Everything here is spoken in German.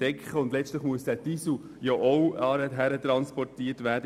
Und letztlich muss der Diesel antransportiert werden.